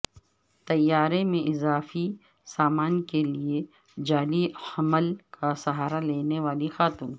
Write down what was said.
طیارے میں اضافی سامان کے لیے جعلی حمل کا سہارا لینے والی خاتون